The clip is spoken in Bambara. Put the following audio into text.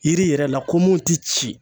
Yiri yɛrɛ la ko mun ti ci.